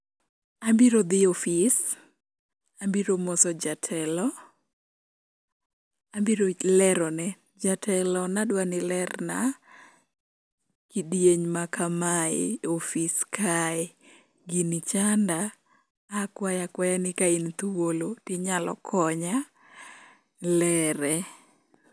Abiro dhi ofis, abiro moso jatelo, abiro lerone jatelo ni adwa ni ilerna kidieny ma kamae e ofis kae, gini chanda akwaya akwaya ni ka in thuolo tinyalo konya lere.